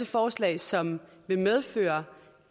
forslag som vil medføre